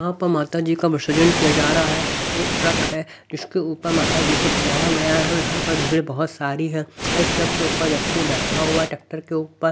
यहाँ पर माता जी का विसर्जन किया जा रहा है एक ट्रक है जिसके ऊपर माता जी को सजाया गया है यहाँ पर भीड़ बहुत सारी है एक ट्रक के ऊपर व्यक्ति बैठा हुआ है ट्रैक्टर के ऊपर।